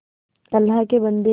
अल्लाह के बन्दे